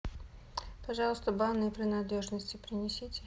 пожалуйста банные принадлежности принесите